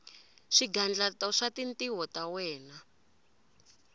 swigandlato swa tintiho ta wena